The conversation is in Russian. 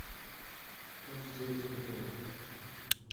как сделать перевод